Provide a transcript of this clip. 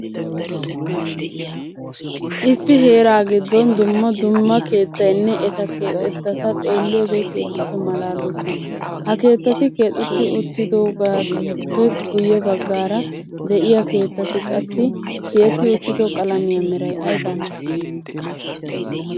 Issi heeraa giddom dumma dumma keettaynne eta keexettata xeeliyode keehippe malaaloosona. Ha keettati keexetti uttidobaappe guye bagaara de'iyaa keettati qassi tiyetti uttido qalammiya meray aybaa malatii?